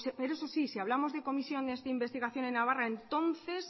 pero eso sí si hablamos de comisiones de investigación en navarra entonces